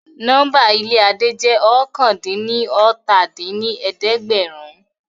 Nọ́mbà ilé Adé jẹ́ oókànlá-dín-ní-ọ́ta dín ní ẹ̀ẹ́dẹ́gbẹ́rún